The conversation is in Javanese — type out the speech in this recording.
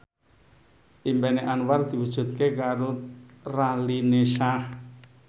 impine Anwar diwujudke karo Raline Shah